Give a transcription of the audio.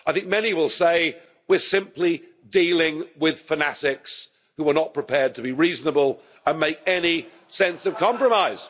I think many will say, we're simply dealing with fanatics who are not prepared to be reasonable or make any sense of compromise'.